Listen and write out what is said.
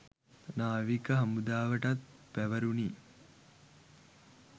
නාවික හමුදාවටත් පැවරුණි